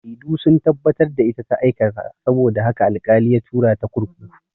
Shaidu sun tabbatar da ita ta aikata saboda haka al-kali ya tura ta kurkuku